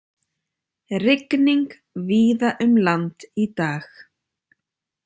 Rigning víða um land í dag